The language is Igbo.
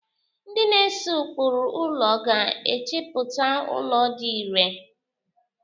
Ndị na-ese ụkpụrụ ụlọ ga-echepụta ụlọ dị ịre.